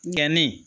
Gɛnni